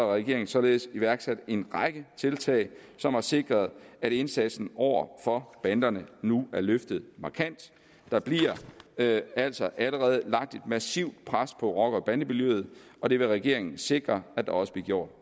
regeringen således iværksat en række tiltag som har sikret at indsatsen over for banderne nu er løftet markant der bliver altså allerede lagt et massivt pres på rocker bande miljøet og det vil regeringen sikre at der også bliver gjort